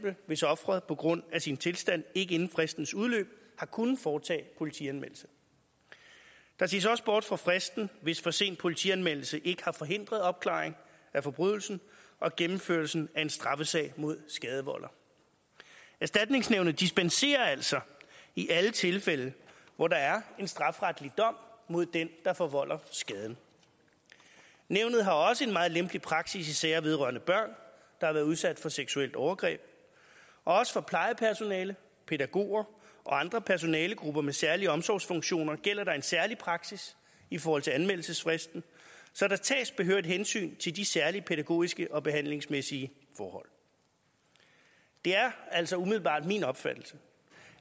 hvis offeret på grund af sin tilstand ikke inden fristens udløb har kunnet foretage politianmeldelse der ses også bort fra fristen hvis for sen politianmeldelse ikke har forhindret opklaring af forbrydelsen og gennemførelsen af en straffesag mod skadevolder erstatningsnævnet dispenserer altså i alle tilfælde hvor der er en strafferetlig dom mod den der forvolder skaden nævnet har også en meget lempelig praksis i sager vedrørende børn der har været udsat for seksuelt overgreb og også for plejepersonale pædagoger og andre personalegrupper med særlige omsorgsfunktioner gælder der en særlig praksis i forhold til anmeldelsesfristen så der tages behørigt hensyn til de særlige pædagogiske og behandlingsmæssige forhold det er altså umiddelbart min opfattelse